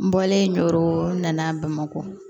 N bɔlen joro n'a bamakɔ